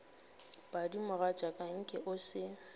padi mogatšaka nke o se